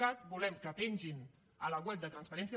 cat volem que pengin a la web de transparència